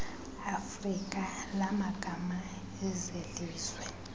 afrika lamagama ezelizwe